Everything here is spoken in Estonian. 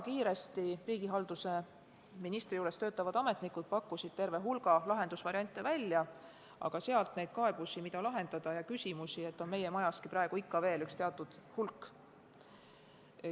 Riigihalduse ministri juures töötavad ametnikud pakkusid väga kiiresti välja terve hulga lahendusvariante, aga neid kaebusi, mida lahendada, ja küsimusi on meie majaski praegu veel teatud hulk.